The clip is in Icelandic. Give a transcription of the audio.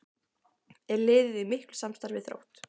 Er liðið í miklu samstarfi við Þrótt?